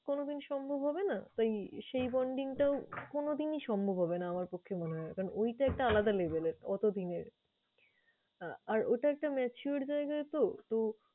কোনদিন সম্ভব হবে না তাই সেই bonding টাও কোনদিনই সম্ভব হবে না আমার পক্ষে মনে হয়। কারণ ওইটা একটা আলাদা level এর অতদিনের। আহ আর ওইটা একটা mature জায়গায় তো, তো